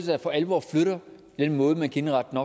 der for alvor flytter den måde man kan indrette